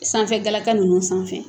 Sanfɛ galaka ninnu sanfɛ